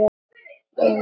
Ég er með hvíta húfu.